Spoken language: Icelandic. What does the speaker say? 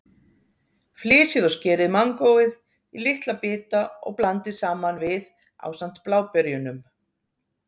Flysjið og skerið mangóið í litla bita og blandið saman við ásamt bláberjunum.